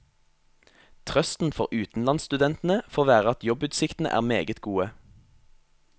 Trøsten for utenlandsstudentene får være at jobbutsiktene er meget gode.